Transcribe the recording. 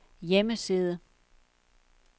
hjemmeside